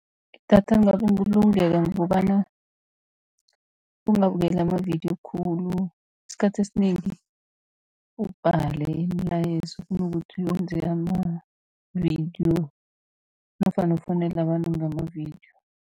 Idatha lingabulungeka ngokobana ungabukeli amavidiyo khulu, isikhathi esinengi ubhale imilayezo kunokuthi wenze amavidiyo nofana ufowunele abantu ngamavidiyo.